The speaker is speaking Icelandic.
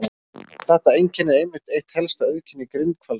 Þetta einkenni er einmitt eitt helsta auðkenni grindhvalsins.